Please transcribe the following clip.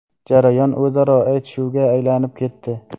Jarayon o‘zaro aytishuvga aylanib ketdi.